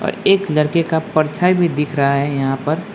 एक लड़के का परछाई भी दिख रहा है यहां पर।